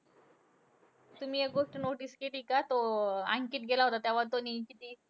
तुम्ही एक गोष्ट notice केली का? तो अं अंकित गेला होता तेव्हा तो